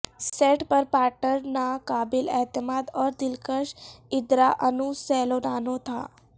set پر partner ناقابل اعتماد اور دلکش ادراانو سیلونانو تھا